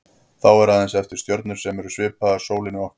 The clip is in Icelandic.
Þá eru aðeins eftir stjörnur sem eru svipaðar sólinni okkar.